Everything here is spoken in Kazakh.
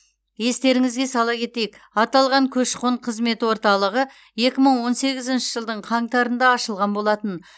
естеріңізге сала кетейік аталған көші қон қызметі орталығы екі мың он сегізінші жылдың қаңтарында ашылған болатын